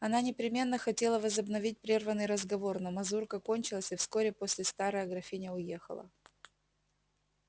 она непременно хотела возобновить прерванный разговор но мазурка кончилась и вскоре после старая графиня уехала